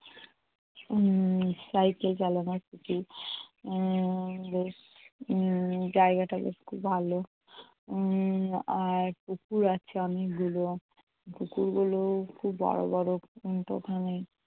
উম cycle চালানো শিখি উম উম বেশ জায়গাটা বেশ খুব ভালো। উম আর পুকুর আছে অনেকগুলো। পুকুরগুলো খুব বড় বড়